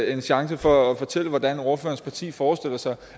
en chance for at fortælle hvordan ordførerens parti forestiller sig